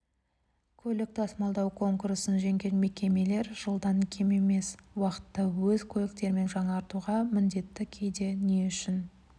көлік тасымалдау конкурсын жеңген мекемелер жылдан кем емес уақытта өз көліктерін жаңартуға міндетті кейде не үшін